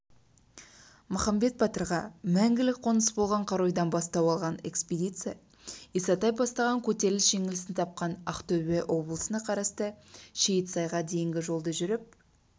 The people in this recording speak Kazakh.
махамбет батырға мәңгілік қоныс болған қаройдан бастау алған экспедиция исатай бастаған көтеріліс жеңіліс тапқан ақтөбе облысына қарасты шейітсайға дейінгі жолды жүріп